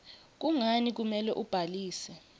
kungani kumele ubhalise